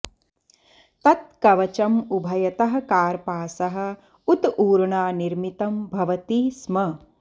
तत् कवचम् उभयतः कार्पासः उत ऊर्णा निर्मितं भवति स्म